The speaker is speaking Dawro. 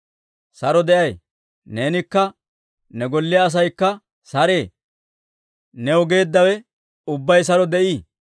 Saro de'ay! Neenikka ne golliyaa asaykka saree! New geeddawe ubbay saro de'ii!